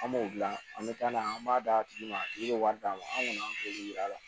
An b'o dilan an bɛ taa n'a ye an b'a d'a tigi ma a tigi bɛ wari d'a ma an kɔni an t'olu yira a la